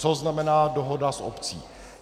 Co znamená dohoda s obcí?